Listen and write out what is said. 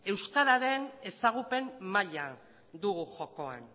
euskararen ezagupen maila dugu jokoan